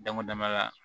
Dama dama ka